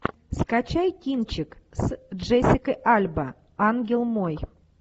скачай кинчик с джессикой альба ангел мой